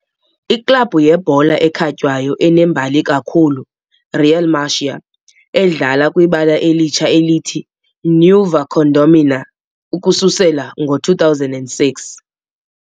Iklabhu yebhola ekhatywayo enembali kakhulu Real Murcia, edlala kwibala elitsha elithi " "Nueva Condomina" " ukususela ngo-2006.